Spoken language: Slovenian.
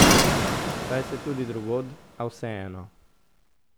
Saj se tudi drugod, a vseeno.